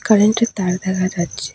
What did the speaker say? কারেন্টের তার দেখা যাচ্ছে।